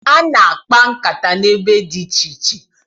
A na-akpa nkata n'ebe dị iche iche.